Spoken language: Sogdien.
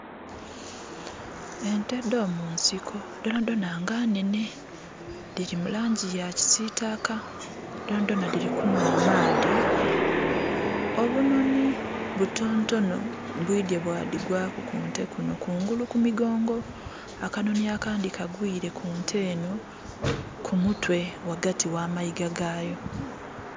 Ente dh'omunsiko dhona dhona nga nhenhe. Dhili mu langi ya kisiitaka. Dhona dhona dhili kunhwa amaadhi. Obunhonhi butonotono bwidhye bwadhigwaku ku nte kunho kungulu ku migongo. Akanhonhi akandhi kagwile ku nte enho ku mutwe ghagati gha mayiga gaayo.